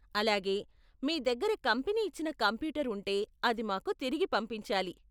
అలాగే, మీ దగ్గర కంపెనీ ఇచ్చిన కంప్యూటర్ ఉంటే అది మాకు తిరిగి పంపించాలి.